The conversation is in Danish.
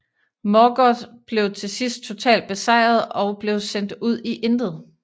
Morgoth blev til sidst totalt besejret og blev sendt ud i intet